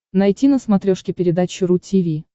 найти на смотрешке передачу ру ти ви